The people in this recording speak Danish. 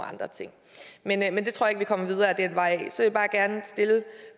andre ting men jeg tror ikke vi kommer videre ad den vej så vil jeg gerne stille